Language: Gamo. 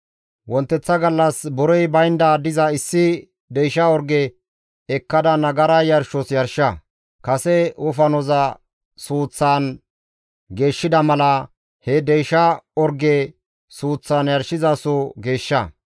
« ‹Wonteththa gallas borey baynda diza issi deysha orge ekkada nagara yarshos yarsha. Kase wofanoza suuththan geeshshida mala, he deysha orgeza suuththan yarshizasoza geeshsha.